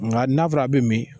Nka n'a fɔra a bɛ min